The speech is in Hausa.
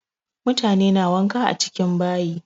Mutane na wanka a cikin bayi.